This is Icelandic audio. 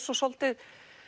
svo svolítið